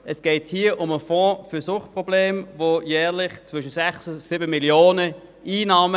Es geht um den Fonds für Suchtprobleme mit jährlichen Einnahmen zwischen 6 und 7 Mio. Franken.